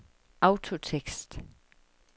autotekst